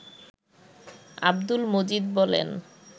আব্দুল মজিদ বলেন